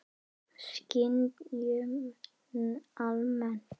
Skynjun almennt